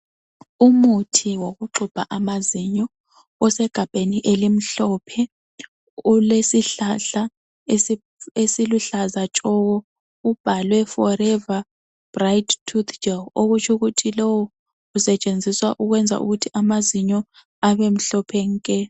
Umuthi wokuxubha amazinyo osegabheni elimhlophe, ulesihlahla esiluhlaza tshoko ubhalwe forever bright toothgel okutshukuthi lowu usetshenziswa ukwenza ukuthi amazinyo abemhlophe nke.